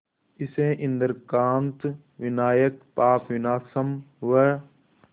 इसे इंद्रकांत विनायक पापविनाशम व